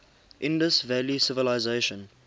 indus valley civilisation